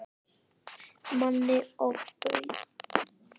Manni ofbauð.